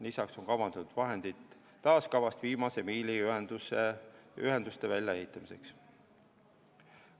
Lisaks on taastekavast kavandatud vahendid viimase miili ühenduste väljaehitamiseks.